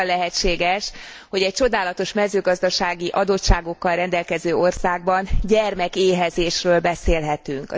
Hogyan lehetséges, hogy egy csodálatos mezőgazdasági adottságokkal rendelkező országban gyermekéhezésről beszélhetünk?